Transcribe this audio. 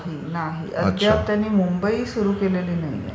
नाही, नाही. अद्याप त्यांनी मुंबई सुरू केलेली नाहीये.